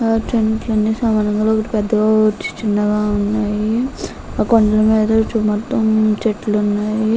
ఇక్కడ కొని చిన్నగా పెద్దగ ఉన్నాయ్. కొండ మెదడ ఉన్నాయ్.